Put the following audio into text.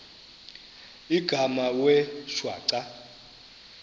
igama wee shwaca